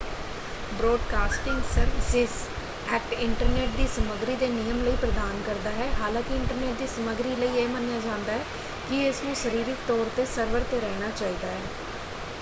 Broadcasting services act internet ਦੀ ਸਮੱਗਰੀ ਦੇ ਨਿਯਮ ਲਈ ਪ੍ਰਦਾਨ ਕਰਦਾ ਹੈ ਹਾਲਾਂਕਿ ਇੰਟਰਨੈੱਟ ਦੀ ਸਮੱਗਰੀ ਲਈ ਇਹ ਮੰਨਿਆ ਜਾਂਦਾ ਹੈ ਕਿ ਇਸ ਨੂੰ ਸਰੀਰਕ ਤੌਰ 'ਤੇ ਸਰਵਰ 'ਤੇ ਰਹਿਣਾ ਚਾਹੀਦਾ ਹੈ।